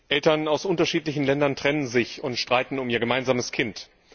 Eltern aus unterschiedlichen Ländern trennen sich und streiten um ihr gemeinsames Kind.